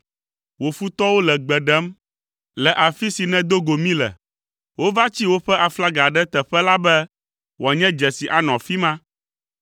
Wò futɔwo le gbe ɖem le afi si nèdo go mí le; wova tsi woƒe aflaga ɖe teƒe la be wòanye dzesi anɔ afi ma.